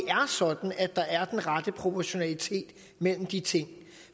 sådan at der er den rette proportionalitet mellem de ting